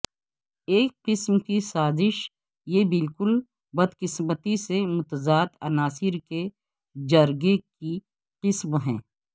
ایک قسم کی سازش یہ بالکل بدقسمتی سے متضاد عناصر کے جرگے کی قسم ہے